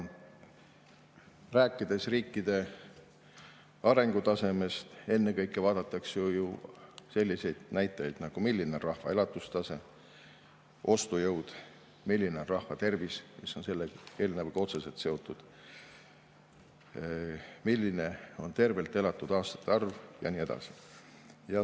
Rääkides riikide arengutasemest, vaadatakse ennekõike ju selliseid näitajaid, milline on rahva elatustase ja ostujõud, milline on rahva tervis – mis on selle eelnõuga otseselt seotud –, milline on tervelt elatud aastate arv ja nii edasi.